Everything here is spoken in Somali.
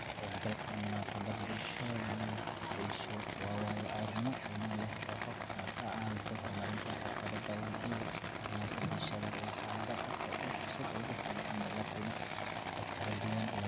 Ka qaybgalka munaasabadda bulshada waxa uu ahaa waayo-aragnimo qiimo leh oo i siisay fursad aan ku barto dhaqamada kala duwan, isla